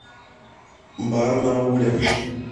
барнауле